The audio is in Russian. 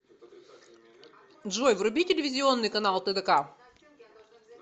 джой вруби телевизионный канал тдк